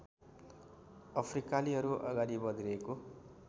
अफ्रिकालीहरू अगाडि बढिरहेको